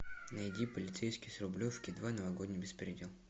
найди полицейский с рублевки два новогодний беспредел